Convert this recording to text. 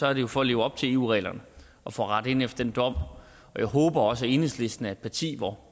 er det jo for at leve op til eu reglerne og for at rette ind efter den dom og jeg håber også at enhedslisten er et parti hvor